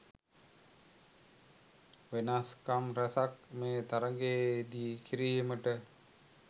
වෙනස්කම් රැසක් මේ තරගයේදී කිරීමට